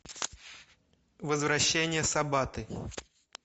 возвращение сабаты